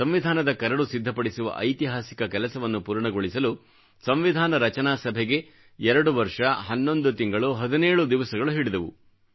ಸಂವಿಧಾನದ ಕರಡು ಸಿದ್ಧಪಡಿಸುವ ಐತಿಹಾಸಿಕ ಕೆಲಸವನ್ನು ಪೂರ್ಣಗೊಳಿಸಲು ಸಂವಿಧಾ ರಚನಾ ಸಭೆಗೆ ಎರಡು ವರ್ಷ ಹನ್ನೊಂದು ತಿಂಗಳು ಹದಿನೇಳು ದಿವಸಗಳು ಹಿಡಿದವು